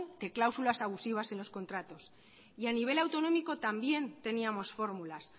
de cláusulas abusivas en los contratos y a nivel autonómico también teníamos fórmulas